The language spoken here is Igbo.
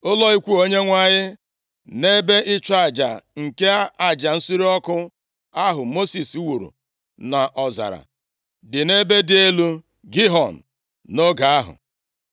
Ụlọ ikwu Onyenwe anyị na ebe ịchụ aja nke aja nsure ọkụ ahụ Mosis wuru nʼọzara dị nʼebe dị elu Gibiọn, nʼoge ahụ.